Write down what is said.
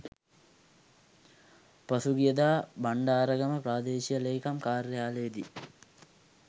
පසුගියදා බණ්ඩාරගම ප්‍රාදේශීය ලේකම් කාර්යාලයේදී